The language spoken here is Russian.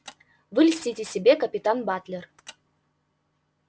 вы льстите себе капитан батлер